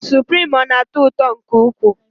Suprim, ọ na-atọ ụtọ nke ukwuu?